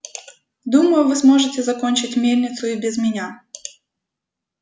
думаю вы сможете закончить мельницу и без меня